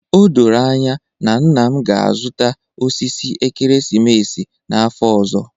O doro anya na nna m ga-azụta osisi ekeresimesi n'afọ ọzọ